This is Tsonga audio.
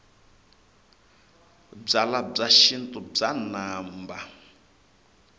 byalwabya xintu bya namba